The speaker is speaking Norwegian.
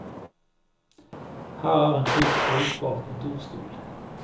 Her er en fullt brukbar kontorstol.